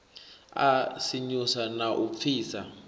a sinyusa na u pfisa